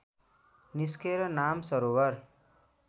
निस्केर मान सरोवर